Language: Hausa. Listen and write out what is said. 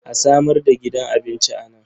A samar da gidan abinci a nan.